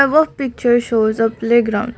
the above picture shows a playground.